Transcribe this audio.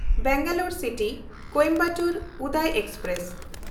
Bangalore ᱥᱤᱴᱤ–ᱠᱳᱭᱮᱢᱵᱟᱴᱩᱨ Uday express